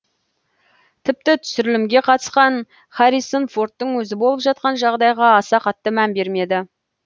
тіпті түсірілімге қатысқан харрисон фордтың өзі болып жатқан жағдайға аса қатты мән бермеді